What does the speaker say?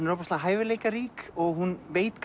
er ofboðslega hæfileikarík og hún veit